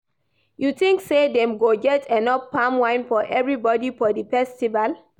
You tink say dem go get enough palm wine for everybody for di festival?